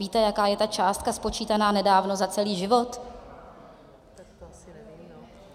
Víte, jaká je ta částka spočítaná nedávno za celý život?